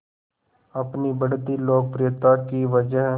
अपनी बढ़ती लोकप्रियता की वजह